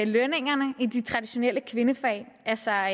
lønningerne i de traditionelle kvindefag altså